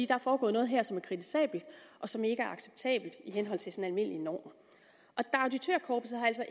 der er foregået noget her som er kritisabelt og som ikke er acceptabelt i henhold til sådan almindelige normer auditørkorpset har altså